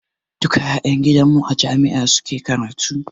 Duka ƴan gidan mu a jami'a suke karatu.